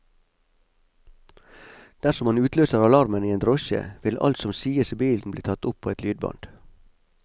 Dersom man utløser alarmen i en drosje, vil alt som sies i bilen bli tatt opp på et lydbånd.